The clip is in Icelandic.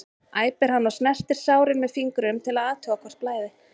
æpir hann og snertir sárin með fingrunum til að athuga hvort blæði.